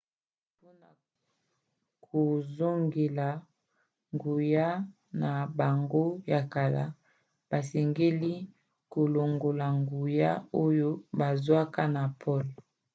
mpona kozongela nguya na bango ya kala basengeli kolongola nguya oyo bazwaka na pole